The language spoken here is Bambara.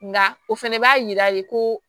Nka o fana b'a yira de ko